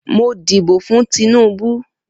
Mo díbò fún Tinubu.